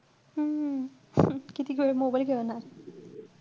हम्म कितीक वेळ mobile खेळणार?